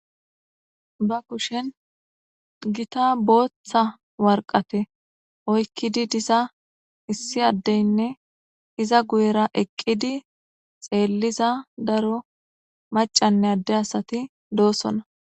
Ba kushen gita bootha waraqata oykidi diza issi adene iza guyera eqidi xeeleza daro macane adde asati de'osona.